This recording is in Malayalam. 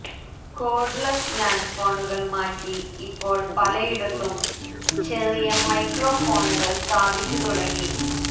കോര്ഡ്ലെസ് ലാന്റ്ഫോണുകള് മാറ്റി ഇപ്പോള് പലയിടത്തും ചെറിയ മൈക്രോ ഫോണുകള് സ്ഥാപിച്ചു തുടങ്ങി